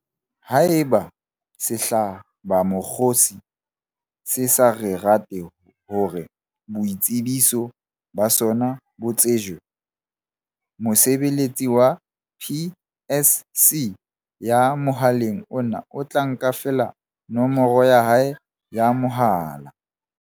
Haeba sehlabamokgosi se sa rate hore boitsebiso ba sona bo tsejwe, mosebeletsi wa PSC ya mohaleng ona o tla nka feela nomoro ya hae ya mohala.